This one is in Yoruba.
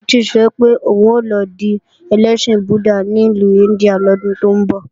Títí sọ pé òun lọ di ẹlẹ́sìn Buddha ní ìlú India lọ́dún tó ń bọ̀